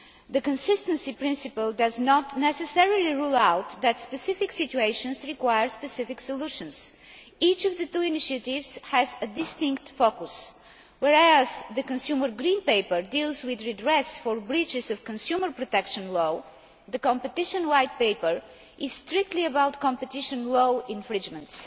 The consistency principle does not necessarily rule out that specific situations require specific solutions. Each of the two initiatives has a distinct focus. Whereas the consumer green paper deals with redress for breaches of consumer protection law, the competition white paper is strictly about competition law infringements.